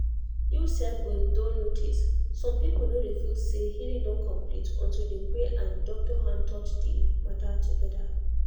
you sef go don notice some people no dey feel say healing don complete until dem pray and doctor hand touch the matter together.